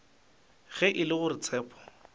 ge e le gore tshepo